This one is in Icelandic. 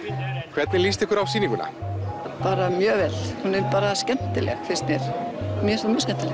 hvernig líst ykkur á sýninguna bara mjög vel hún er skemmtileg finnst mér mjög skemmtileg